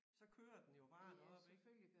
Så kører den jo bare deroppe ik